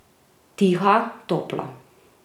Tiha, topla.